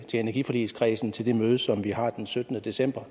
til energiforligskredsen til det møde som vi har den syttende december